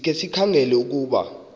sikhe sikhangele ukuba